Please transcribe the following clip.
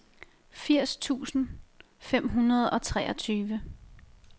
firs tusind fem hundrede og treogtyve